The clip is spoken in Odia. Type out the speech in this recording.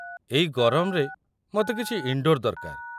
ଏହି ଗରମରେ ମୋତେ କିଛି ଇନ୍‌ଡୋର୍ ଦରକାର।